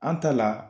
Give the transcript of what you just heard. An ta la